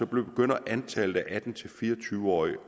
begynder antallet af atten til fire og tyve årige